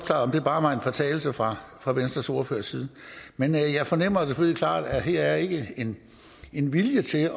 det bare var en fortalelse fra fra venstres ordførers side men jeg fornemmer selvfølgelig klart at her er ikke en vilje til